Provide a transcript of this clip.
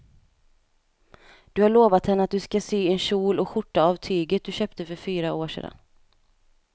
Du har lovat henne att du ska sy en kjol och skjorta av tyget du köpte för fyra år sedan.